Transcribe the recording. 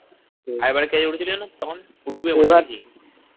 কে উঠেছিল জানিস তখন